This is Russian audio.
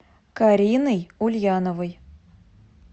кариной ульяновой